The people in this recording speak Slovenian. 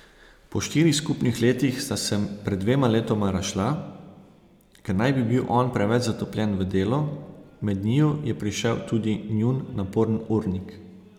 Po štirih skupnih letih sta se pred dvema letoma razšla, ker naj bi bil on preveč zatopljen v delo, med njiju je prišel tudi njun naporen urnik.